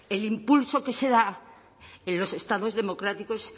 el impulso que se da en los estados democráticos